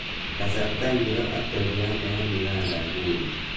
Kasarta ingiro atebi anee eng Uganda nguni